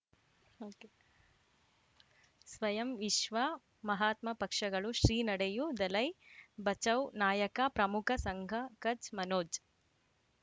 ಸ್ವಯಂ ವಿಶ್ವ ಮಹಾತ್ಮ ಪಕ್ಷಗಳು ಶ್ರೀ ನಡೆಯೂ ದಲೈ ಬಚೌ ನಾಯಕ ಪ್ರಮುಖ ಸಂಘ ಕಚ್ ಮನೋಜ್